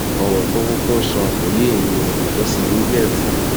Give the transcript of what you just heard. ọrọ tó kúkú ń sọ kò yé èmi ò mọ sí wí bẹẹ fún un